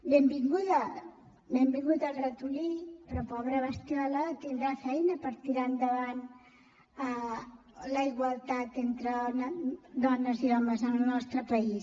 benvingut el ratolí però pobra bestiola tindrà feina per tirar endavant la igualtat entre dones i homes en el nostre país